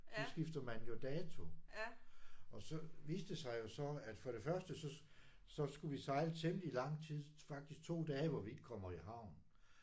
Så skifter man jo dato og så viste det sig jo så at for det første så så skulle vi sejle i temmelig lang tid faktisk 2 dage hvor vi ikke kommer i havn